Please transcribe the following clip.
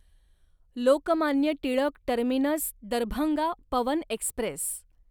Lokmanya Tilak terminus Darbhanga Pawan Express